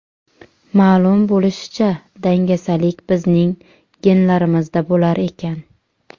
Ma’lum bo‘lishicha, dangasalik bizning genlarimizda bo‘lar ekan.